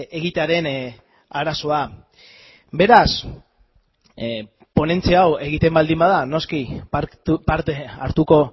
egitearen arazoa beraz ponentzia hau egiten baldin bada noski parte hartuko